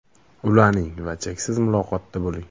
Ulaning va cheksiz muloqotda bo‘ling!